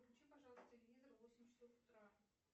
включи пожалуйста телевизор в восемь часов утра